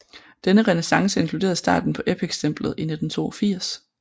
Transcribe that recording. Denne renæssance inkluderede starten på Epic stemplet i 1982